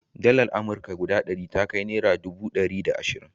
Dalar amurka guda ɗari ta kai naira dubu ɗari da ashirin.